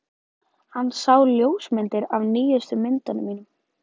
Hann sá ljósmyndir af nýjustu myndunum mínum.